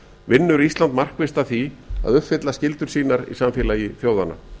vinnur ísland markvisst að því að uppfylla skyldur sínar í samfélagi þjóðanna